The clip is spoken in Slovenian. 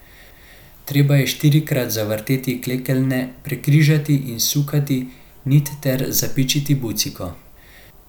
Treba je štirikrat zavrteti klekeljne, prekrižati in sukati nit ter zapičiti buciko.